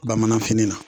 Bamananfini na